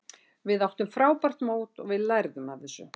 Við áttum frábært mót og við lærum af þessu.